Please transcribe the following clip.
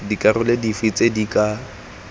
dikarolo dife tse di ka